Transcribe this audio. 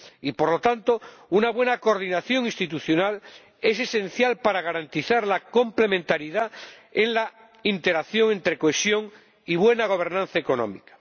Y, por lo tanto, una buena coordinación institucional es esencial para garantizar la complementariedad en la interacción entre cohesión y buena gobernanza económica.